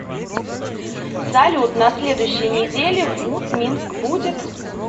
салют на следующей неделе в мут минск будет